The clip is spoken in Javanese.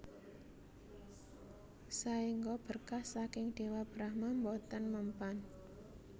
Saengga berkah saking Dewa Brahma boten mempan